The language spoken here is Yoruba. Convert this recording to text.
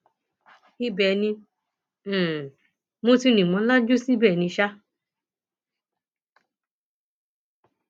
ibẹ ni um mo ti rìn mọ lajú síbẹ ni um